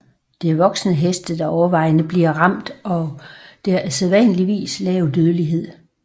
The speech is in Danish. Det er voksne heste der overvejende bliver ramt og der er sædvanligvis lav dødelighed